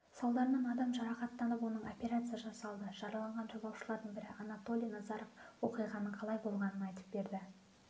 салдарынан адам жарақаттанып оның операция жасалды жараланған жолаушылардың бірі анатолий назаров оқиғаның қалай болғанын айтып берді